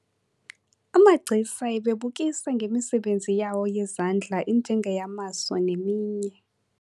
Amagcisa ebebukisa ngemisebenzi yawo yezandla enjengeyamaso neminye.